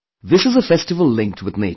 This is a festival linked with nature